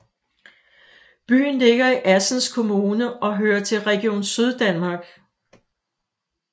Byen ligger i Assens Kommune og hører til Region Syddanmark